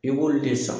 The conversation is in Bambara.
I b'olu de san